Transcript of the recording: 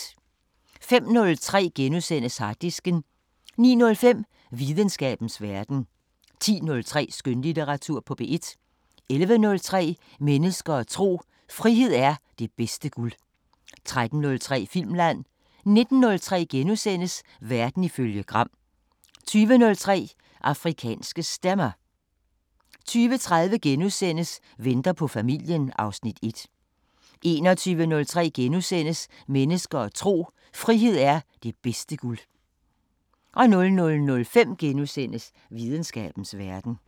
05:03: Harddisken * 09:05: Videnskabens Verden 10:03: Skønlitteratur på P1 11:03: Mennesker og tro: Frihed er det bedste guld 13:03: Filmland 19:03: Verden ifølge Gram * 20:03: Afrikanske Stemmer 20:30: Venter på familien (Afs. 1)* 21:03: Mennesker og tro: Frihed er det bedste guld * 00:05: Videnskabens Verden *